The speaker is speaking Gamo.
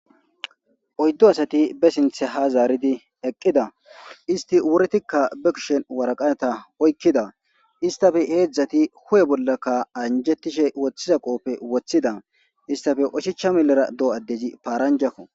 Oyddu asati be sinththe ha zaaridi eeqqida isti wurettikka waraqata be kushshen oykida istappe hedzdzattiikka huphphe bolla anjjetishe woththiza qoope woththida istappe osachcha milera do addezi paranjakko.